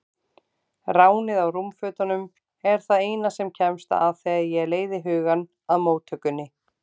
Ránið á rúmfötunum er það eina sem kemst að þegar ég leiði hugann að móttökunni.